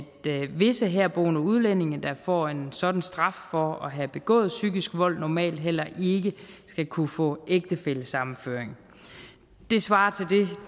visse herboende udlændinge der får en sådan straf for at have begået psykisk vold normalt heller ikke skal kunne få ægtefællesammenføring det svarer til